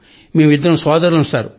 మేం ఇద్దరు సోదరులం సర్